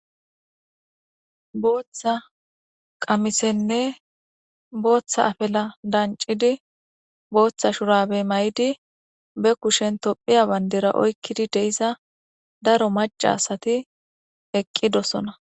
Booththa afilenne booththa qamise danccidi booththa shurabe mayidi be kushen tophphiya bandita oykkidi de'iza daro macca asati eqqidosona.